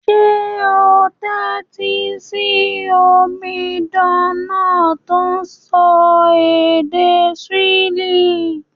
Sé o n tẹ́tí si omidan náà to n sọ èdè Swahili?